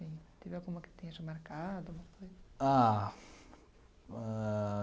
Teve alguma que tenha te marcado alguma coisa? Ah, ãh...